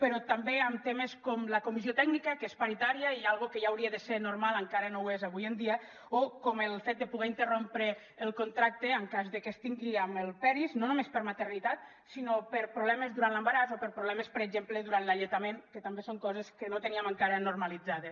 però també en temes com la comissió tècnica que és paritària i una cosa que ja hauria de ser normal encara no ho és avui en dia o com el fet de poder interrompre el contracte en cas de que es tingui amb el peris no només per maternitat sinó per problemes durant l’embaràs o per problemes per exemple durant l’alletament que també són coses que no teníem encara normalitzades